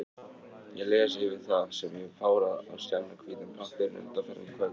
Ég les yfir það, sem ég hef párað á skjannahvítan pappírinn undanfarin kvöld.